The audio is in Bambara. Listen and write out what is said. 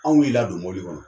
Anw y'i la don mɔbili kɔnɔ.